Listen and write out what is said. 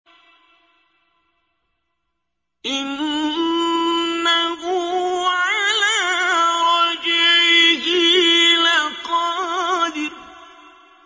إِنَّهُ عَلَىٰ رَجْعِهِ لَقَادِرٌ